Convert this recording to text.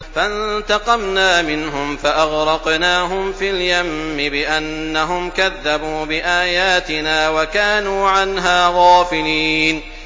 فَانتَقَمْنَا مِنْهُمْ فَأَغْرَقْنَاهُمْ فِي الْيَمِّ بِأَنَّهُمْ كَذَّبُوا بِآيَاتِنَا وَكَانُوا عَنْهَا غَافِلِينَ